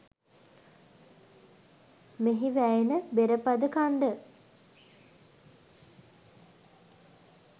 මෙහි වැයෙන බෙරපද ඛණ්ඩ